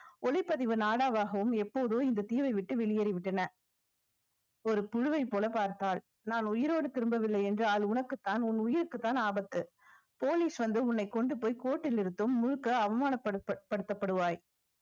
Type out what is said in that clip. ஒளிப்பதிவு நாடாவும் எப்போதோ இந்த தீவை விட்டு வெளியேறி விட்டன ஒரு புழுவைப் போல பார்த்தால் நான் உயிரோடு திரும்பவில்லை என்றால் உனக்குத்தான் உன் உயிருக்குத்தான் ஆபத்து police வந்து உன்னை கொண்டு போய் court ல் நிறுத்தும் முழுக்க அவமானப்படுப்ப~ படுத்தப்படுவாய்